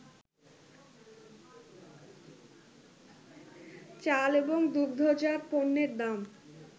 চাল এবং দুগ্ধজাত পণ্যের দাম